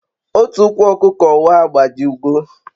Otu ukwu okuko wa agbajigo